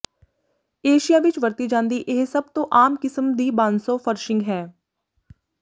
Asia ਵਿੱਚ ਵਰਤੀ ਜਾਂਦੀ ਇਹ ਸਭ ਤੋਂ ਆਮ ਕਿਸਮ ਦੀ ਬਾਂਸੋ ਫ਼ਰਸ਼ਿੰਗ ਹੈ